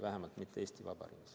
Vähemalt mitte Eesti Vabariigis.